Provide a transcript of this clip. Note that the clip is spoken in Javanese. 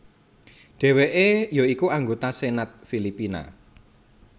Dheweke ya iku anggota Senat Filipina